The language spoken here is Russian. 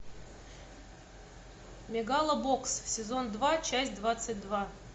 мегалобокс сезон два часть двадцать два